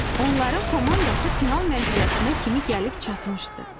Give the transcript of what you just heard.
Onların komandası final mərhələsinə kimi gəlib çatmışdı.